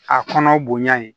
A kɔnɔ bonya ye